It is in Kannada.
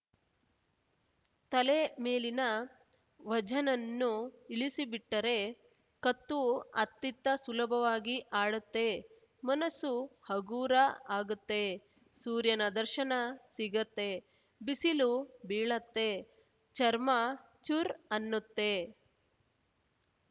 ತಲೆ ಮೇಲಿನ ವಝನ್ನನ್ನು ಇಳಿಸಿಬಿಟ್ಟರೆ ಕತ್ತು ಅತ್ತಿತ್ತ ಸುಲಭವಾಗಿ ಆಡುತ್ತೆ ಮನಸ್ಸು ಹಗೂರ ಆಗುತ್ತೆ ಸೂರ್ಯನ ದರ್ಶನ ಸಿಗತ್ತೆ ಬಿಸಿಲು ಬೀಳತ್ತೆ ಚರ್ಮ ಚುರ್‌ ಅನ್ನುತ್ತೆ